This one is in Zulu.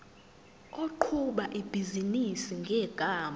oqhuba ibhizinisi ngegama